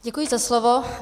Děkuji za slovo.